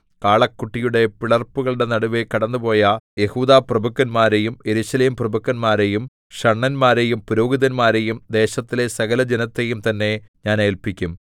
കാളക്കുട്ടിയുടെ പിളർപ്പുകളുടെ നടുവെ കടന്നുപോയ യെഹൂദാപ്രഭുക്കന്മാരെയും യെരൂശലേംപ്രഭുക്കന്മാരെയും ഷണ്ഡന്മാരെയും പുരോഹിതന്മാരെയും ദേശത്തിലെ സകലജനത്തെയും തന്നെ ഞാൻ ഏല്പിക്കും